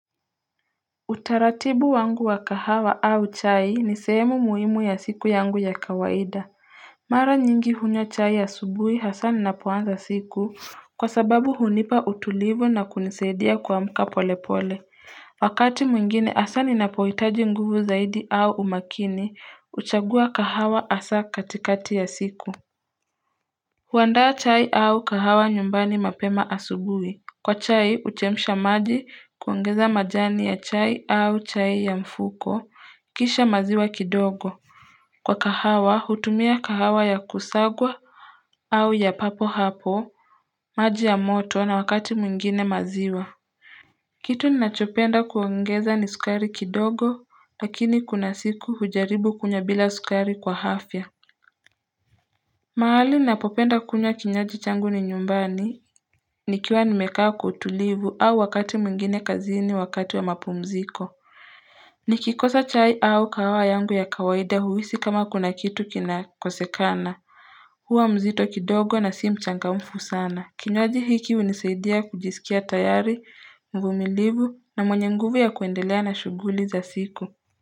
Utaratibu wangu wa kahawa au chai ni sehemu muhimu ya siku yangu ya kawaida mara nyingi hunywa chai ya asubuhi hasa ninapoanza siku kwa sababu hunipa utulivu na kunisaidia kuamka pole pole wakati mwingine hasa ninapohitaji nguvu zaidi au umakini huchagua kahawa hasa katikati ya siku huandaa chai au kahawa nyumbani mapema asubuhi Kwa chai, huchemsha maji kuongeza majani ya chai au chai ya mfuko, kisha maziwa kidogo. Kwa kahawa, hutumia kahawa ya kusagwa au ya papo hapo, maji ya moto na wakati mwingine maziwa. Kitu ninachopenda kuongeza ni sukari kidogo, lakini kuna siku hujaribu kunywa bila sukari kwa afya. Mahali ninapopenda kunywa kinywaji changu ni nyumbani nikiwa nimekaa kwa utulivu au wakati mwingine kazini wakati wa mapumziko Nikikosa chai au kahawa yangu ya kawaida huhisi kama kuna kitu kina kosekana Huwa mzito kidogo na si mchangamfu sana Kinywaji hiki hunisaidia kujisikia tayari, mvumilivu na mwenye nguvu ya kuendelea na shughuli za siku.